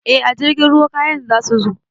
Eh a jirgin ruwa kayan zasu zo